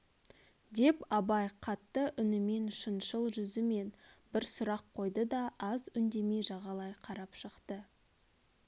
деп абай қатты үнімен шыншыл жүзімен бір сұрақ қойды да аз үндемей жағалай қарап шықты